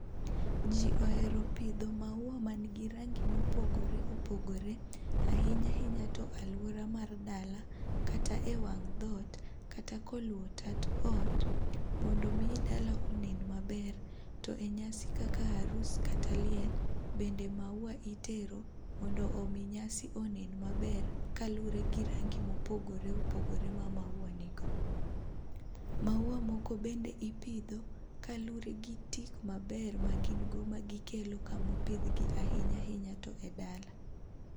Ji ohero pidho maua man gi rangi mopogore opogore. Ahinya ahinya to aluora mar dala kata ewang' dhoot, kata koluwo tat ot mondo mi dala onen maber. To enyasi kaka arus kata liel, bende mauwa itero mondo omi nyasi onen maber kaluwore gi rangi mopogore opogore ma mauwa nigo. Mauwa moko bende ipidho kaluwore gi tik maber ma gin go magikelo kamopidhgi ahinya ahinya to ei dala.